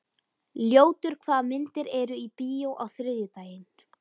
Ljótur, hvaða myndir eru í bíó á þriðjudaginn?